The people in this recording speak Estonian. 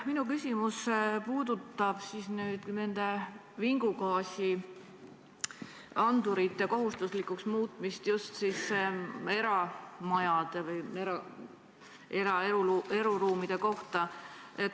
Minu küsimus puudutab vingugaasiandurite kohustuslikuks muutmist just eramajades või eraeluruumides.